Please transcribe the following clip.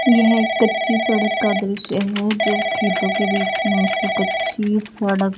यह एक कच्ची सड़क का दृश्य है जो खेतों के बीच में से कच्ची सड़क--